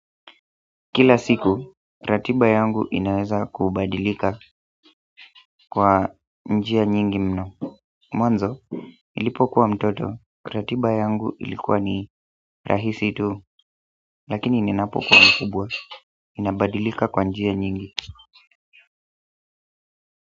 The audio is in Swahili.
Kila siku, ratiba yangu inaweza kubadilika kwa njia nyingi mno mwanzo, nilipokuwa mtoto, ratiba yangu ilikuwa ni rahisi tu lakini ninapokuwa mkubwa, inabadilika kwa njia nyingi.